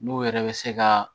N'u yɛrɛ bɛ se ka